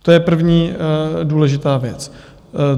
To je první důležitá věc.